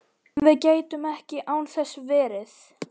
Við gætum ekki án þess verið